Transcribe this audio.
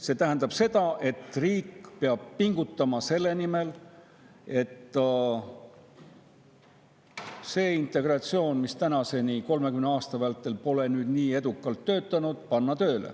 See tähendab seda, et riik peab pingutama selle nimel, et panna tööle integratsioon, mis 30 aasta vältel pole nii edukalt töötanud.